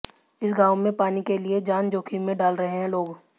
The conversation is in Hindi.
इस गांव में पानी के लिए जान जोखिम में डाल रहे हैं लोग